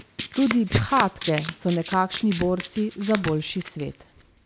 Tudi bhakte so nekakšni borci za boljši svet.